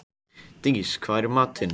Dís, hvað er í matinn?